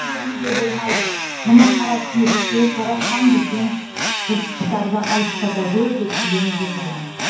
берілуге болмайды мына қара түнекте жаратқан бізден жыртқыштарды алыстата гөр деп тіленіп отырмын